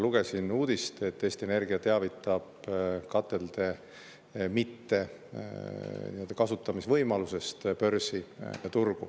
Lugesin uudist, et Eesti Energia teavitab börsi, katelde kasutamise võimalust pole.